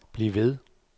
bliv ved